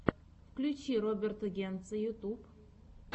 включи роберта генца ютуб